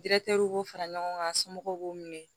detɛriw fara ɲɔgɔn kan somɔgɔw b'u minɛ